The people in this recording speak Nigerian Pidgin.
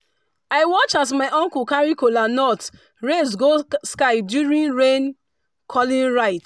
i watch as my uncle carry kola nut raise go sky during rain-calling rite.